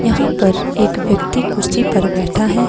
यहां पर एक व्यक्ति कुर्सी पर बैठा है।